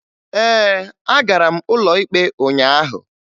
Ee, agara m ụlọ ikpe ụnyaahụ